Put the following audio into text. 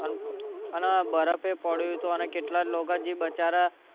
અને બરફ ય પડ્યો તો અને કેટલાંક લોકો બચારા